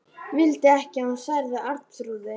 Vildi ekki að hún særði Arnþrúði.